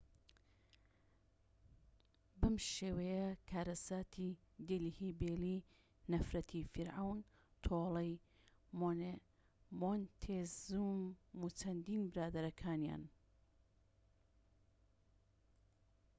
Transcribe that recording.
بەم شێوەیە کارەساتی دێلهی بێلی نەفرەتی فیرعەون تۆڵەی مۆنتێزوم و چەندین برادەرەکانیان